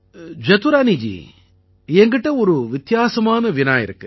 ஜதுரானீஜி என்கிட்ட ஒரு வித்தியாசமான வினா இருக்கு